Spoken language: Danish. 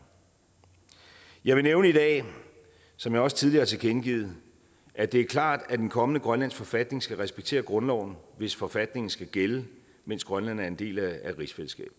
jeg vil nævne i dag som jeg også tidligere har tilkendegivet at det er klart at den kommende grønlandske forfatning skal respektere grundloven hvis forfatningen skal gælde mens grønland er en del af rigsfællesskabet